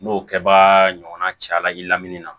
N'o kɛbaga ɲɔgɔnna caya la i lamini na